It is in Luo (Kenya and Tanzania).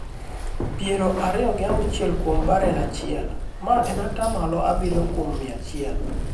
pier ariyo gi auchiel kuom barel achiel, ma en ata malo abiriyo kuom mia achiel.